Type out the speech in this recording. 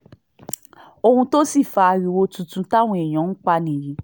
ohun tó sì fa ariwo tuntun táwọn èèyàn ń pa nìyí